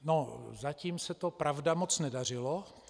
No, zatím se to, pravda, moc nedařilo.